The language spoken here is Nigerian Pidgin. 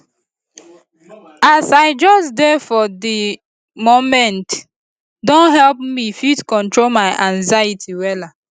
as i just dey for di momente don help me fit control my anxiety wella